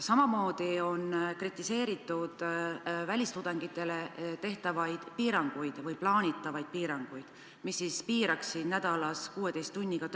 Samamoodi on kritiseeritud plaanitavaid välistudengitele tehtavaid piiranguid, mis piiraksid tudengite võimaluse tööd teha nädalas 16 tunniga.